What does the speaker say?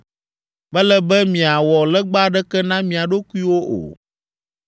“Mele be miawɔ legba aɖeke na mia ɖokuiwo o.